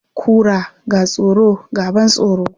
Kura, ga tsoro, ga ban tsoro.